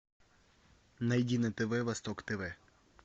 найди на тв восток тв